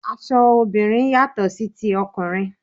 Aṣọ obìnrin yàtò sí ti ọkùnrin.